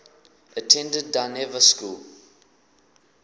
attended dynevor school